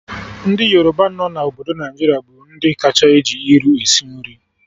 Ndị Yoruba nọ na obodo Naijiria bụ ndị kacha eji iru esi nri